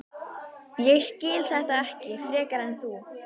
Ég skil þetta ekki frekar en þú.